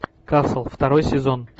касл второй сезон